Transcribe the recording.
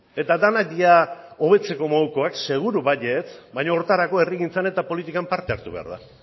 eta denak dira hobetzeko modukoak seguru baietz baina horretarako herrigintzan eta politikan parte hartu behar da